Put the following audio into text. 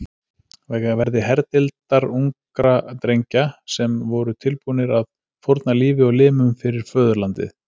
verði herdeildar ungra drengja sem voru tilbúnir að fórna lífi og limum fyrir föðurlandið.